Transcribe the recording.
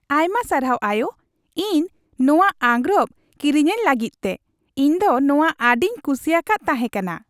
ᱟᱭᱢᱟ ᱥᱟᱨᱦᱟᱣ, ᱟᱭᱳ ! ᱤᱧ ᱱᱚᱣᱟ ᱟᱸᱜᱨᱚᱯ ᱠᱤᱨᱤᱧᱟᱹᱧ ᱞᱟᱹᱜᱤᱫ ᱛᱮ, ᱤᱧ ᱫᱚ ᱱᱚᱣᱟ ᱟᱹᱰᱤᱧ ᱠᱩᱥᱤᱭᱟᱠᱟᱫ ᱛᱟᱦᱮᱸ ᱠᱟᱱᱟ ᱾